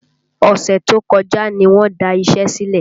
Ọ̀sẹ̀ tó kọjá ní wọn da iṣẹ́ sílẹ̀